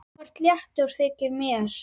Þú ert léttur, þykir mér!